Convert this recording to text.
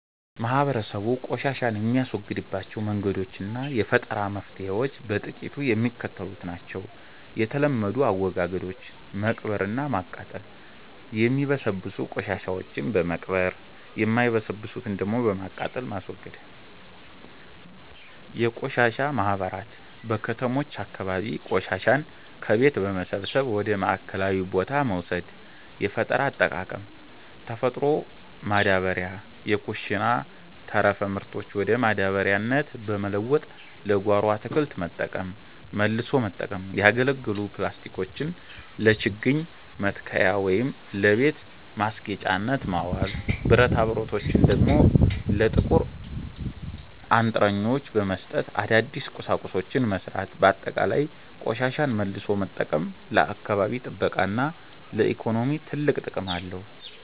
ማህበረሰቡ ቆሻሻን የሚያስወግድባቸው መንገዶችና የፈጠራ መፍትሔዎች በጥቂቱ የሚከተሉት ናቸው፦ የተለመዱ አወጋገዶች፦ መቅበርና ማቃጠል፦ የሚበሰብሱ ቆሻሻዎችን በመቅበር፣ የማይበሰብሱትን ደግሞ በማቃጠል ማስወገድ። የቆሻሻ ማህበራት፦ በከተሞች አካባቢ ቆሻሻን ከቤት በመሰብሰብ ወደ ማዕከላዊ ቦታ መውሰድ። የፈጠራ አጠቃቀም፦ ተፈጥሮ ማዳበሪያ፦ የኩሽና ተረፈ ምርቶችን ወደ ማዳበሪያነት በመለወጥ ለጓሮ አትክልት መጠቀም። መልሶ መጠቀም፦ ያገለገሉ ፕላስቲኮችን ለችግኝ መትከያ ወይም ለቤት ማስጌጫነት ማዋል፤ ብረታብረቶችን ደግሞ ለጥቁር አንጥረኞች በመስጠት አዳዲስ ቁሳቁሶችን መሥራት። ባጠቃላይ፣ ቆሻሻን መልሶ መጠቀም ለአካባቢ ጥበቃና ለኢኮኖሚ ትልቅ ጥቅም አለው።